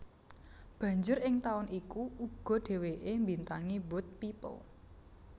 Banjur ing taun iku uga dhèwèké mbintangi Boat People